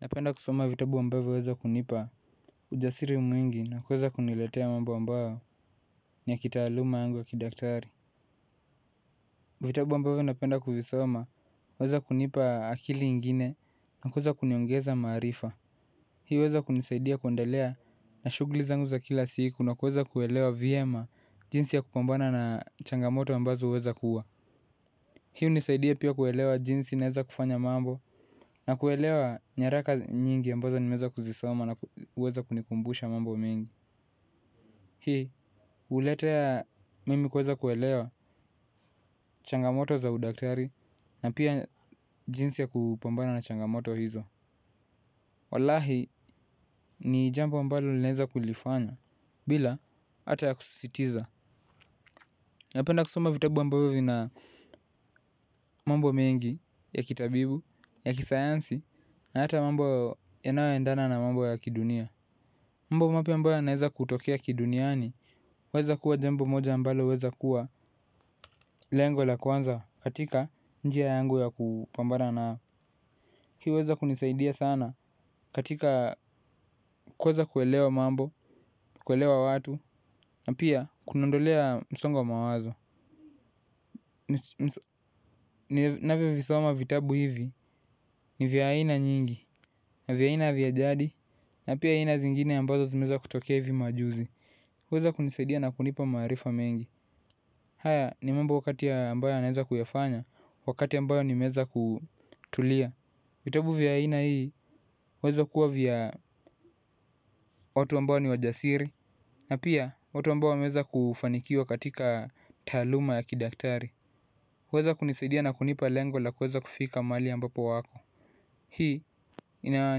Napenda kusoma vitabu ambavyo waeza kunipa ujasiri mwingi na kuweza kuniletea mambo ambayo ni ya kitaaluma yangu ya kidaktari. Vitabu ambavyo napenda kuvisoma waeza kunipa akili ingine na kuweza kuniongeza maarifa. Hii uweza kunisaidia kuendelea na shugli zangu za kila siku na kuweza kuelewa vyema jinsi ya kupambana na changamoto ambazo huweza kuwa hii hunisaidia pia kuelewa jinsi naeza kufanya mambo na kuelewa nyaraka nyingi ambazo nimeweza kuzisoma na uweza kunikumbusha mambo mingi. Hii uleteya mimi kuweza kuelewa changamoto za udaktari na pia jinsi ya kupambana na changamoto hizo. Walahi ni jambo ambalo naeza kulifanya bila ata ya kusisitiza. Na penda kusoma vitabu ambavyo vina mambo mengi ya kitabibu, ya kisayansi, na hata mambo ya nayo endana na mambo ya kidunia. Mambo mapya ambayo yanaeza kutokea kiduniani, waeza kuwa jambo moja ambalo, weza kuwa lengo la kwanza katika njia yangu ya kupambana nayo. Hii huweza kunisaidia sana katika kuweza kuelewa mambo, kuelewa watu, na pia kuniondolea msongo wa mawazo. Navyovisoma vitabu hivi ni vya aina nyingi na vya aina vya jadi na pia aina zingine ambazo zimeza kutokea hivi majuzi huweza kunisadia na kunipa maarifa mengi. Haya ni mambo kati ya ambayo anaeza kuyafanya wakati ambayo nimeeza kutulia. Vitabu vya aina hii waeza kuwa vya watu ambai ni wajasiri na pia watu ambao wameeza kufanikiwa katika taaluma ya kidaktari. Huweza kunisiadia na kunipa lengo la kuweza kufika mali ambapo wako. Hii ina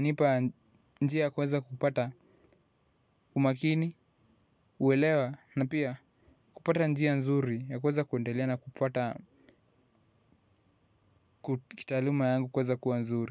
nipa njia ya kuweza kupata umakini uwelewa na pia kupata njia nzuri ya kuweza kuendelea na kupata kitaaluma yangu kuweza kuwa nzuri.